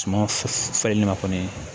Suma falenli ma kɔni